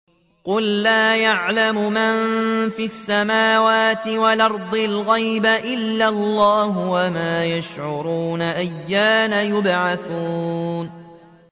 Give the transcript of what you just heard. قُل لَّا يَعْلَمُ مَن فِي السَّمَاوَاتِ وَالْأَرْضِ الْغَيْبَ إِلَّا اللَّهُ ۚ وَمَا يَشْعُرُونَ أَيَّانَ يُبْعَثُونَ